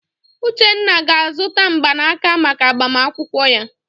Uchenna ga-azụta mgbanaka maka agbamakwụkwọ ya.